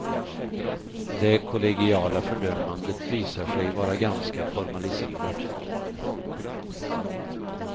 Det kollegiala fördömandet visar sig vara ganska formaliserat.